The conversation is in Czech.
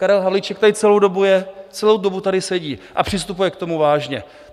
Karel Havlíček tady celou dobu je, celou dobu tady sedí a přistupuje k tomu vážně.